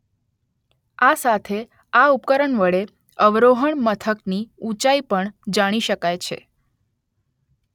આ સાથે આ ઉપકરણ વડે અવરોહણ મથકની ઊંચાઈ પણ જાણી શકાય છે